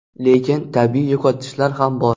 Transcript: Lekin tabiiy yo‘qotishlar ham bor.